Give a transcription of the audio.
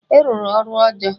Ị rụrụ ọrụ ọjọọ!